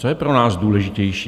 Co je pro nás důležitější?